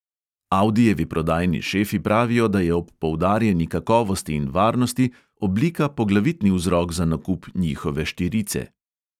Audijevi prodajni šefi pravijo, da je ob poudarjeni kakovosti in varnosti oblika poglavitni vzrok za nakup njihove štirice.